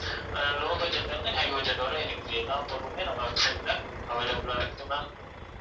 அஹ் low budget ல இருந்து high budget வரை இருக்குது எல்லா பொருளுமே நம்ம website ல available ஆ இருக்குது ma'am